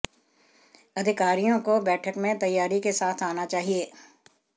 अधिकारियों को बैठक में तैयारी के साथ आना चाहिए